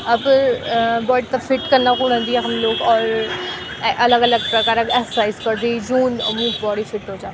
अपर अ बॉडी थे फिट कना खुण भी यखम लोग और ए अलग अलग प्रकार क एक्सरसाइज करदी जून वूक बॉडी फिट हो जान्द।